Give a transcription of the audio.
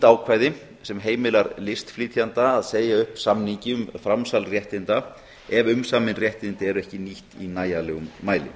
ákvæði sem heimilar listflytjanda að segja upp samningi um framsal réttinda ef umsamin réttindi eru ekki nýtt í nægilegum mæli